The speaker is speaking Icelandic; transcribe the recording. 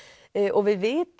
og við vitum